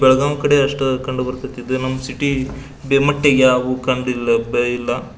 ಬೆಳಗಾಂ ಕಡೆ ಅಷ್ಟು ಕಂಡುಬರತೈತಿ ನಮ್ ಸಿಟಿ